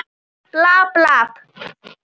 Er nú skarð fyrir skildi.